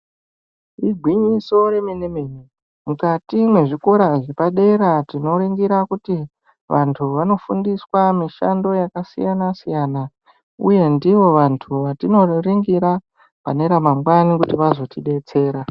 Igwinyiso remene mene mukati mwezvikora zvepadera tinoringira kuti vantu vanofundiswa mishando yakasiyana siyana uye ndivo vantu vatinonoringira pane ramangwani kuti vazotidetsera.